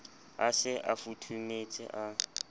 a se a futhumetse a